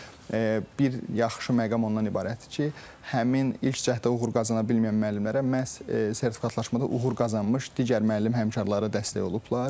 Bir yaxşı məqam ondan ibarətdir ki, həmin ilk cəhdə uğur qazana bilməyən müəllimlərə məhz sertifikatlaşmada uğur qazanmış digər müəllim həmkarları dəstək olublar.